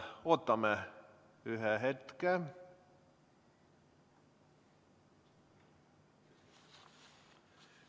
Ootame ühe hetke.